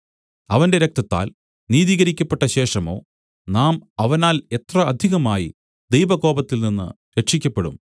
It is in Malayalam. അവന്റെ രക്തത്താൽ നീതീകരിക്കപ്പെട്ടശേഷമോ നാം അവനാൽ എത്ര അധികമായി ദൈവകോപത്തിൽ നിന്നു രക്ഷിയ്ക്കപ്പെടും